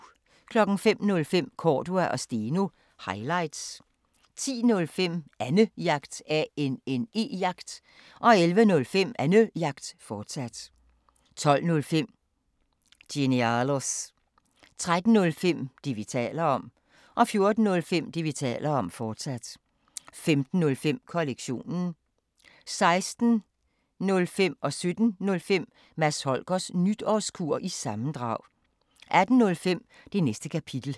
05:05: Cordua & Steno – highlights 10:05: Annejagt 11:05: Annejagt, fortsat 12:05: Genialos 13:05: Det, vi taler om 14:05: Det, vi taler om, fortsat 15:05: Kollektionen 16:05: Mads Holgers Nytårskur, sammendrag 17:05: Mads Holgers Nytårskur, sammendrag 18:05: Det Næste Kapitel